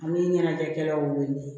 Ani ɲɛnajɛkɛlaw wele